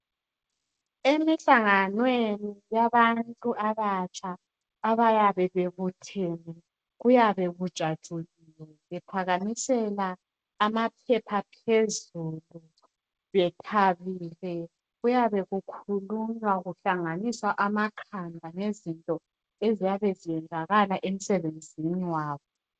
Emihlanganweni yabantu abatsha abayabe bebuthene kuyabe kujatshuliwe bephakamisela amaphepha phezulu bethabile. Kuyabe kukhulunywa kuhlanganiswa amakhanda ngezinto eziyabe ziyenzakala emsebenzini wabo.